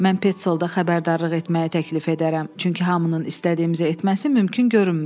Mən Peçolda xəbərdarlıq etməyi təklif edərəm, çünki hamının istədiyimizi etməsi mümkün görünmür.